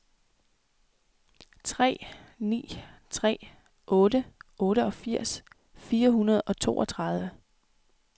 tre ni tre otte otteogfirs fire hundrede og toogtredive